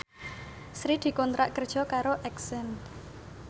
Sri dikontrak kerja karo Accent